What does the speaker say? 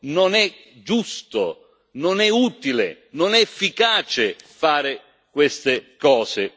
Non è giusto, non è utile, non è efficace fare queste cose.